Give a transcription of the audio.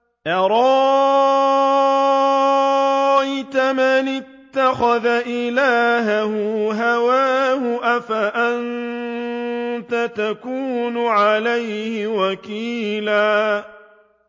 أَرَأَيْتَ مَنِ اتَّخَذَ إِلَٰهَهُ هَوَاهُ أَفَأَنتَ تَكُونُ عَلَيْهِ وَكِيلًا